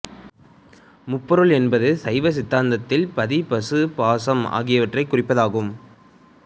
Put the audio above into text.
முப்பொருள் என்பது சைவ சித்தாந்தத்தில் பதி பசு பாசம் ஆகியவற்றைக் குறிப்பதாகும்